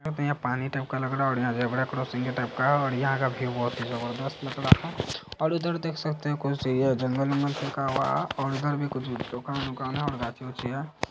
यहाँ पे पानी टाईप का लग रहा हे ओर यहाँ पे रेलवे क्रोसिंग टाईप का हो रही हे ओर यहाँ का व्यू बहुत ही जबरजस्त लग रही हे ओर उधर देख सकते हे खुच जंगल वगल भी और उधर भी कुछ दुकान उकान है --